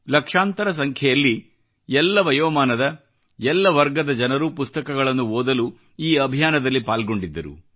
ಲಕ್ಷಾಂತರ ಸಂಖ್ಯೆಯಲ್ಲಿ ಎಲ್ಲ ವಯೋಮಾನದ ಎಲ್ಲ ವರ್ಗದ ಜನರು ಪುಸ್ತಕಗಳನ್ನು ಓದಲು ಈ ಅಭಿಯಾನದಲ್ಲಿ ಪಾಲ್ಗೊಂಡಿದ್ದರು